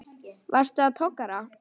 Varstu á togara?